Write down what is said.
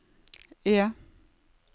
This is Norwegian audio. E